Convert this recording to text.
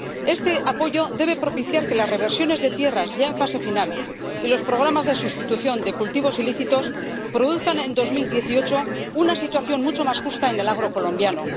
Este apoyo debe propiciar que las reversiones de tierras, ya en fase final, y los programas de sustitución de cultivos ilícitos produzcan en 2018 una situación mucho más justa en el agro colombiano.